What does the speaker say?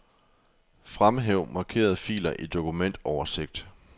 Fremhæv markerede filer i dokumentoversigt.